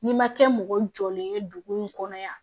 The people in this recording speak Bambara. N'i ma kɛ mɔgɔ jɔlen ye dugu in kɔnɔ yan